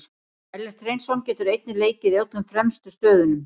Ellert Hreinsson getur einnig leikið í öllum fremstu stöðunum.